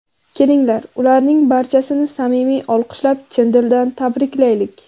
Kelinglar, ularning barchasini samimiy olqishlab, chin dildan tabriklaylik!